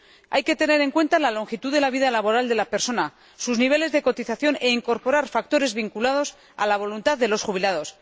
Hay que tener en cuenta la longitud de la vida laboral de la persona y sus niveles de cotización, e incorporar factores vinculados a la voluntad de los jubilados.